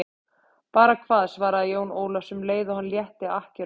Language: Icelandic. Bara hvað, svaraði Jón Ólafur um leið og hann létti akkerunum.